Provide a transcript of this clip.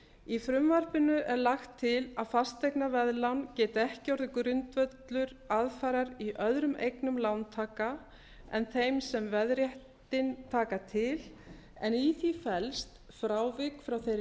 í frumvarpinu er lagt til að fasteignaveðlán geti ekki orðið grundvöllur aðfarar í öðrum eignumlántaka en þeim sem veðréttinn taka til en í því felst frávik frá þeirri